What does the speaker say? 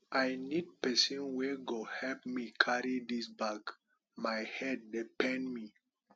i need pesin wey go help me carry dis bag my hand dey pain me